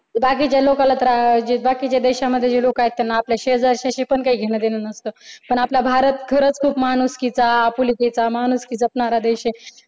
जे बाकीच्या लोकाला त्रा जे बाकीच्या देशामध्ये जे लोक आहेत त्यांना आपल्या शेजारश्याशी पण काही घेणं देणं नसत पण आपला भारत खरंच खूप माणुसकीचा आपुलकीचा माणुसकी जपणारा देश आहे.